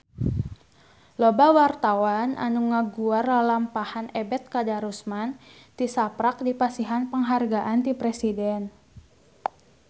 Loba wartawan anu ngaguar lalampahan Ebet Kadarusman tisaprak dipasihan panghargaan ti Presiden